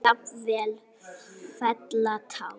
Jafnvel fella tár.